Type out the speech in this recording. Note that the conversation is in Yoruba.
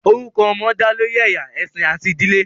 Orukọ ọmọ da lori ẹya, ẹsin ati idile.